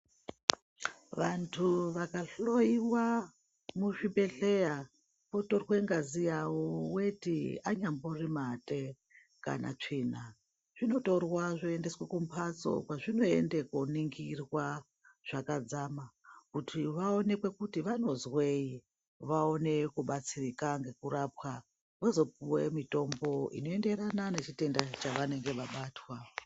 Vantu vakahoiwa muzvibhedhleya votorwe ngazi yavo veti anyambori mate kanatsvina. Zvino zvinotorwa zvoendeswa kumhatso kwazvinoenda koningirwa zvakadzama kuti voonekwe kuti vanozwei vaone kubatsirika ngekurapwa. Vozopiva mutombo unoenderana nechitenda chavanenge vabatwa.